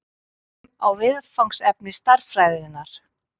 Lítum á viðfangsefni stærðfræðinnar.